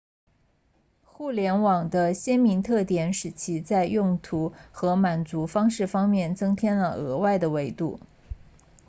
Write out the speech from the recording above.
互联网的鲜明特点使其在用途和满足方式方面增添了额外的维度